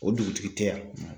O dugutigi tɛ yan.